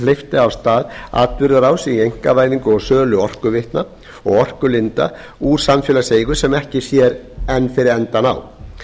hleypti af stað atburðarás í einkavæðingu og sölu orkuveitna og orkulinda úr samfélagseigu sem ekki sér enn fyrir endann á